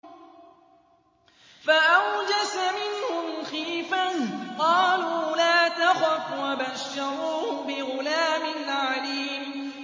فَأَوْجَسَ مِنْهُمْ خِيفَةً ۖ قَالُوا لَا تَخَفْ ۖ وَبَشَّرُوهُ بِغُلَامٍ عَلِيمٍ